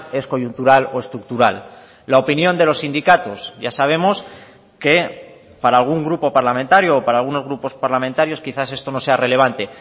es coyuntural o estructural la opinión de los sindicatos ya sabemos que para algún grupo parlamentario o para algunos grupos parlamentarios quizás esto no sea relevante